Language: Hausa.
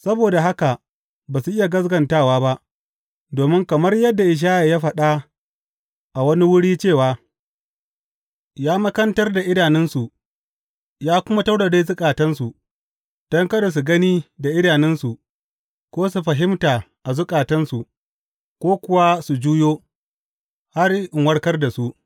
Saboda haka ba su iya gaskatawa ba, domin, kamar yadda Ishaya ya faɗa a wani wuri cewa, Ya makantar da idanunsu ya kuma taurare zukatansu, don kada su gani da idanunsu, ko su fahimta a zukatansu, ko kuwa su juyo, har in warkar da su.